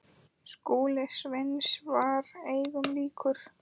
Skúli Sveins var engum líkur.